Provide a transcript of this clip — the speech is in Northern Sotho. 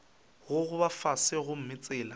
go gogoba fase gomme tsela